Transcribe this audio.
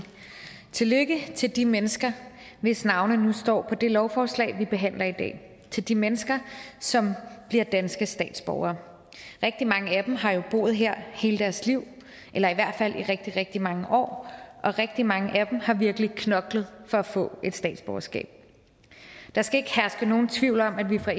tillykke til de mennesker hvis navne nu står på det lovforslag vi behandler i dag til de mennesker som bliver danske statsborgere rigtig mange af dem har jo boet her hele deres liv eller i hvert fald i rigtig rigtig mange år og rigtig mange af dem har virkelig knoklet for at få et statsborgerskab der skal ikke herske nogen tvivl om at vi fra